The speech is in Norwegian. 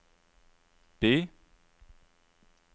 by